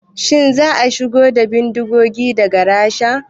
Shin za a shigo da bindigogin daga Rasha?